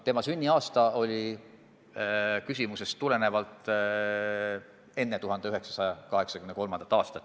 Ta on sündinud enne 1983. aastat.